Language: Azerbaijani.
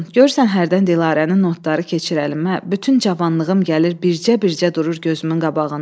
Görürsən hərdən Dilarənin notları keçir əlimə, bütün cavanlığım gəlir bircə-bircə durur gözümün qabağında.